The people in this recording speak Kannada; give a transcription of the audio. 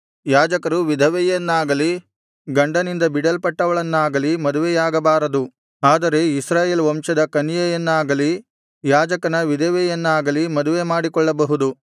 ಯಾಜಕರು ವಿಧವೆಯನ್ನಾಗಲಿ ಗಂಡನಿಂದ ಬಿಡಲ್ಪಟ್ಟವಳನ್ನಾಗಲಿ ಮದುವೆಯಾಗಬಾರದು ಆದರೆ ಇಸ್ರಾಯೇಲ್ ವಂಶದ ಕನ್ಯೆಯನ್ನಾಗಲಿ ಯಾಜಕನ ವಿಧವೆಯನ್ನಾಗಲಿ ಮದುವೆ ಮಾಡಿಕೊಳ್ಳಬಹುದು